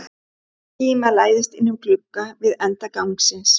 Skíma læðist inn um glugga við enda gangsins.